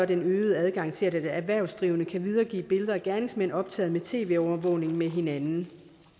den øgede adgang til at erhvervsdrivende kan videregive billeder af gerningsmænd optaget med tv overvågning med hinanden